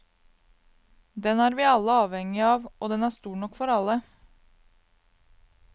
Den er vi alle avhengige av, og den er stor nok for alle.